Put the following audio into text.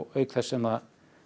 auk þess sem